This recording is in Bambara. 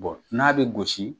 Bɔn n'a bɛ gosi